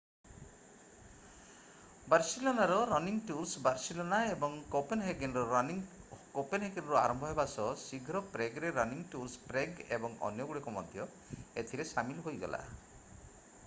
ବାର୍ସିଲୋନାର running tours Barcelona ଏବଂ କୋପେନହେଗନ୍‌ର running କୋପେନହେଗନ୍‌ରୁ ଆରମ୍ଭ ହେବା ସହ ଶୀଘ୍ର ପ୍ରେଗ୍‌ରେ ରନିଂ ଟୁର୍ସ୍ ପ୍ରେଗ୍ ଏବଂ ଅନ୍ୟଗୁଡ଼ିକ ମଧ୍ୟ ଏଥିରେ ସାମିଲ ହୋଇଗଲା।